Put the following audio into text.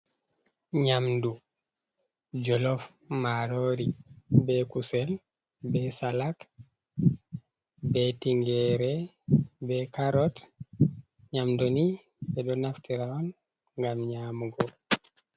Nyamdu, jolof marori, be kusel, be salak, be tingere, be kaarot nyamdu ni ɓeɗo naftira on ngam nyamugo.